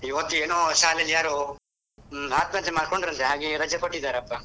ಇವತ್ತೇನೋ ಶಾಲೆಯಲ್ಲಿ ಯಾರೋ ಆತ್ಮಹತ್ಯೆ ಮಾಡಿಕೊಂಡರಂತೆ ಹಾಗೆ ರಜೆ ಕೊಟ್ಟಿದ್ದಾರಪ್ಪಾ.